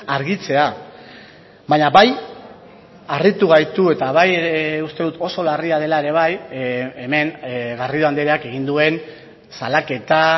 argitzea baina bai harritu gaitu eta bai uste dut oso larria dela ere bai hemen garrido andreak egin duen salaketa